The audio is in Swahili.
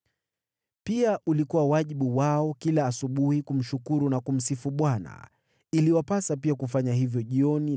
Pia ulikuwa wajibu wao kila asubuhi kumshukuru na kumsifu Bwana . Iliwapasa pia kufanya hivyo jioni